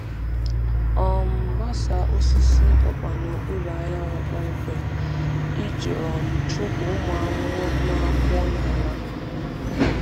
um Gbasaa osisi ọkpa n’okpuru anyanwụ kpọmkwem iji um chụpụ ụmụ ahụhụ na-akwọ n’ala. um